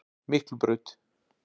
Miklubraut